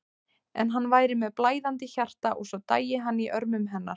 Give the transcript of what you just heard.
En hann væri með blæðandi hjarta og svo dæi hann í örmum hennar.